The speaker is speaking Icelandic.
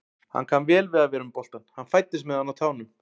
Hann kann vel við að vera með boltann, hann fæddist með hann á tánum.